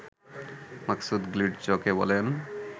মাকসুদ গ্লিটজকে বলেন